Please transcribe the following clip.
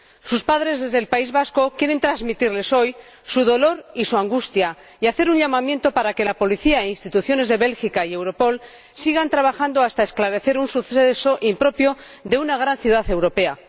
Sus padres, desde el País Vasco, quieren transmitirles hoy su dolor y su angustia y hacer un llamamiento para que la policía y las instituciones de Bélgica, así como Europol, sigan trabajando hasta esclarecer un suceso impropio de una gran ciudad europea.